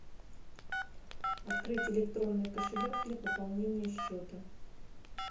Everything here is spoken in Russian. открыть электронный кошелек для пополнения счета